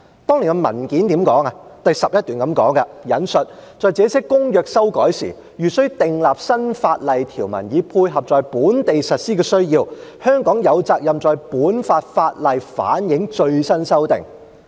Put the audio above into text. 當年的文件第11段是這樣說的：："在這些公約修改時，如須訂立新法例條文以配合在本地實施的需要，香港有責任在本港法例反映最新修訂。